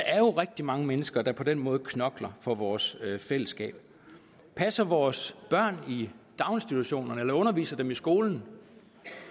er jo rigtig mange mennesker der på den måde knokler for vores fællesskab passer vores børn i daginstitutionerne eller underviser dem i skolen